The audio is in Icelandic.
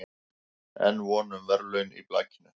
Enn von um verðlaun í blakinu